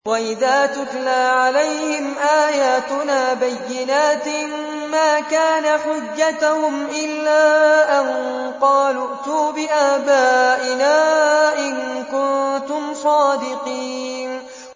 وَإِذَا تُتْلَىٰ عَلَيْهِمْ آيَاتُنَا بَيِّنَاتٍ مَّا كَانَ حُجَّتَهُمْ إِلَّا أَن قَالُوا ائْتُوا بِآبَائِنَا إِن كُنتُمْ صَادِقِينَ